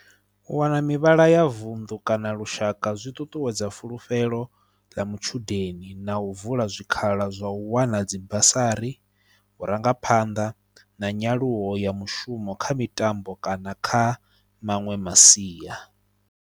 U wana mivhala ya vunḓu kana lushaka zwi ṱuṱuwedza fulufhelo ḽa matshudeni na u vula zwikhala zwa u wana dzi basari, vhurangaphanḓa na nyaluwo ya mushumo kha mitambo kana kha maṅwe masia.